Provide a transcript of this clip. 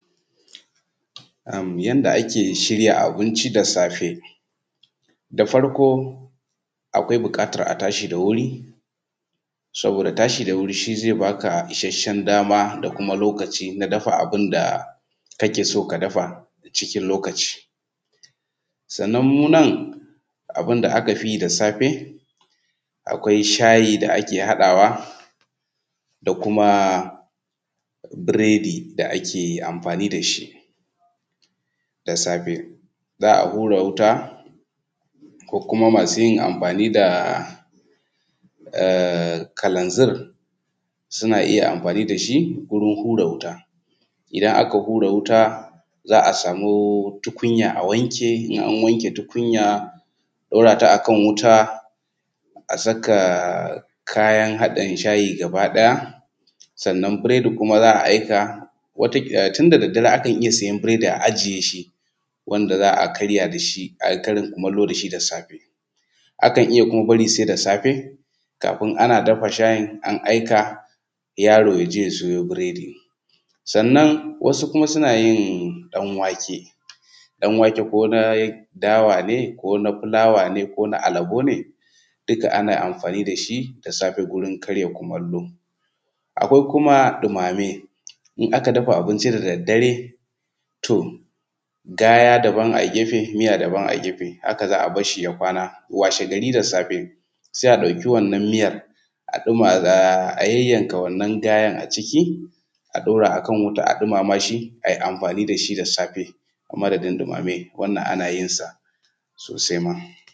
Ammm yanda ake shirya abinci da safe. Da farko akwai buƙatar a tashi da wuri saboda tashi da wuri, saboda tashi da wuri shi zai baka isasshen dama da kuma lokaci na dafa abin da kake so ka dafa cikin lokaci. Sannan mu nan abin da aka yi da safe, akwai shayi da ake haɗawa da kuma biredi da ake amfani da shi da safe. Za a hura wuta ko kuma ma su yin amfani da ahh kalanzir suna iya amfani da shi wurin hura wuta. Idan aka hura wuta za a samu tukunya a wanke, in an wanke tukunya a ɗora ta akan wuta a saka kayan haɗin shayi gaba ɗaya, sannan biredi kuma za a aika wata tun da daddare za a iya siyan biredi a ajiye shi wanda za a karya da shi, a yi karin kumallo da shi da safe. Akan iya kuma bari sai da safe, kafin ana dafa shayin an aika yaro ya je ya siyo biredi. Sannan wasu kuma suna yin ɗan-wake ko na dawa ne ko na fulawa ne ko na alabo ne duka ana amfani da shi da safe gurin karya kumallo. Akwai kuma ɗumame, in aka dafa abinci da daddare toh gaya daban a gefe, miya daban a gefe, haka za a barshi ya kwana washegari da safe sai a ɗauki wannan miyar a ɗuma a yayyanka wannan gayan a ciki a ɗora a kan wuta a ɗumama shi a yi amfani da shi da safe ku madadin ɗumame wannan ana yin sa sosai ma.